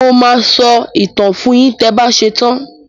Mo máa sọ ìtàn fun yín tẹ ba ṣetán.